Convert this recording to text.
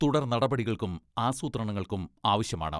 തുടർനടപടികൾക്കും ആസൂത്രണങ്ങൾക്കും ആവശ്യമാണ്.